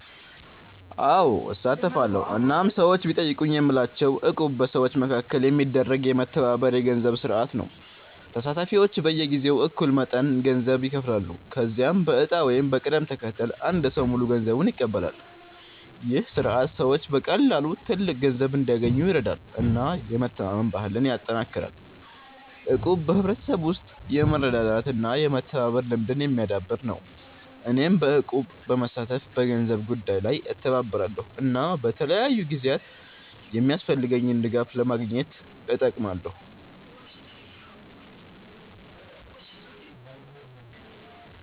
አዎ፣ እሳተፋለሁ እናም ሰዎች ቢጠይቁኝ የምላቸው እቁብ በሰዎች መካከል የሚደረግ የመተባበር የገንዘብ ስርዓት ነው። ተሳታፊዎች በየጊዜው እኩል መጠን ገንዘብ ይከፍላሉ፣ ከዚያም በዕጣ ወይም በቅደም ተከተል አንድ ሰው ሙሉ ገንዘቡን ይቀበላል። ይህ ስርዓት ሰዎች በቀላሉ ትልቅ ገንዘብ እንዲያገኙ ይረዳል እና የመተማመን ባህልን ያጠናክራል። እቁብ በሕብረተሰብ ውስጥ የመረዳዳት እና የመተባበር ልምድን የሚያዳብር ነው። እኔም በእቁብ በመሳተፍ በገንዘብ ጉዳይ ላይ እተባበራለሁ እና በተለያዩ ጊዜያት የሚያስፈልገኝን ድጋፍ ለማግኘት እጠቀማለሁ።